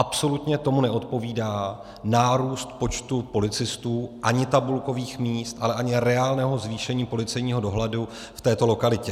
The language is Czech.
Absolutně tomu neodpovídá nárůst počtu policistů ani tabulkových míst, ale ani reálného zvýšení policejního dohledu v této lokalitě.